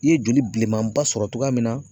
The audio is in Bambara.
I ye joli bilenman ba sɔrɔ togoya min na